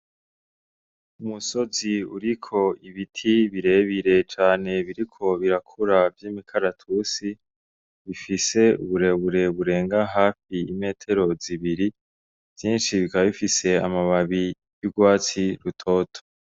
Umusozi uriko ibiti birebire cane biriko birakura vy'imikaratusi, bifise uburebure burenga hafi imetero zibiri vyinshi bikabifise amababi y'urwatsi rutoto.